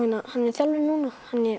er þjálfari núna